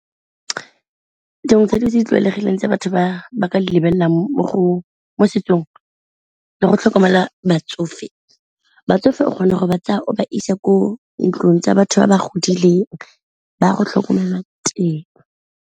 Dingwe tsa dilo tse di tlwaelegileng tse batho ba ba ka lebelelang mo setsong le go tlhokomela batsofe, batsofe o kgona go ba tsaya o ba isa ko ntlong tsa batho ba ba godileng ba go tlhokomelwa teng.